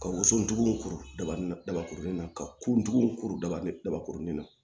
Ka woson tigiw kuru daba dabakurunin na ka kuntugu kuru daba dabakurunin na